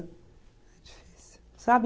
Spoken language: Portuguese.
Sabe?